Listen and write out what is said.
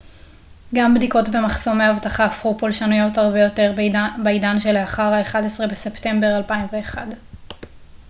גם בדיקות במחסומי אבטחה הפכו פולשניות הרבה יותר בעידן שלאחר ה-11 בספטמבר 2001